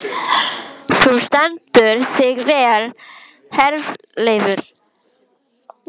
Þú stendur þig vel, Herleifur!